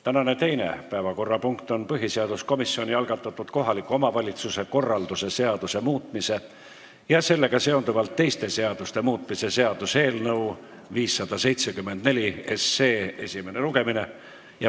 Tänane teine päevakorrapunkt on põhiseaduskomisjoni algatatud kohaliku omavalitsuse korralduse seaduse muutmise ja sellega seonduvalt teiste seaduste muutmise seaduse eelnõu 574 esimene lugemine.